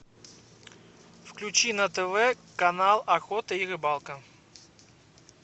включи на тв канал охота и рыбалка